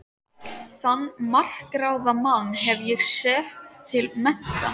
Þann makráða mann hef ég sett til mennta!